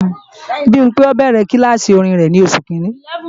Bimpé ó bẹ̀rẹ̀ kílàsì orin rẹ̀ ní Oṣù Kiìíní